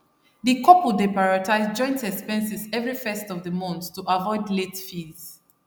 di couple dey prioritize joint expenses every 1st of di mont to avoid late fees